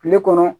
Kile kɔnɔ